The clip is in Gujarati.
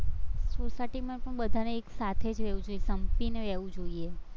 society માં પણ બધાને એકસાથે રહેવું, સંપીને રહેવું જોઈએ.